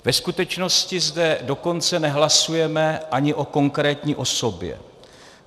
Ve skutečnosti zde dokonce nehlasujeme ani o konkrétní osobě.